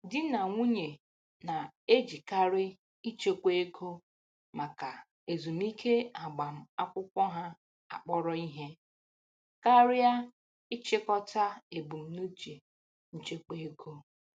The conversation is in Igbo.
Di na nwunye na-ejikarị ịchekwa ego maka ezumike agbamakwụkwọ ha akpọrọ ihe karịa ịchịkọta ebumnuche nchekwa ego.